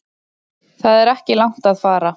Það er ekki langt að fara.